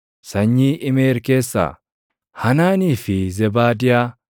Sanyii Imeer keessaa: Hanaanii fi Zebaadiyaa.